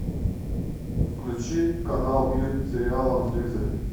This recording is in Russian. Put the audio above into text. включи канал мир сериала на телевизоре